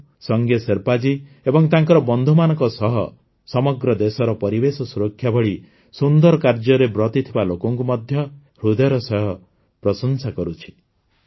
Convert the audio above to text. ମୁଁ ସଙ୍ଗେ ଶେର୍ପା ଜୀ ଏବଂ ତାଙ୍କର ବନ୍ଧୁମାନଙ୍କ ସହ ସମଗ୍ର ଦେଶର ପରିବେଶ ସୁରକ୍ଷା ଭଳି ସୁନ୍ଦର କାର୍ଯ୍ୟରେ ବ୍ରତୀ ଥିବା ଲୋକଙ୍କୁ ମଧ୍ୟ ହୃଦୟର ସହ ପ୍ରଶଂସା କରୁଛି